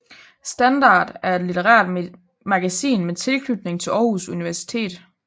Standart er et litterært magasin med tilknytning til Aarhus Universitet